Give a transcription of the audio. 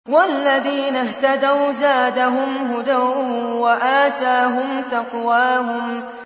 وَالَّذِينَ اهْتَدَوْا زَادَهُمْ هُدًى وَآتَاهُمْ تَقْوَاهُمْ